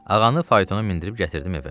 Ağanı faytona mindirib gətirdim evə.